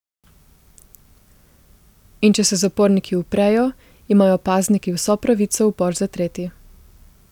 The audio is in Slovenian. In če se zaporniki uprejo, imajo pazniki vso pravico upor zatreti.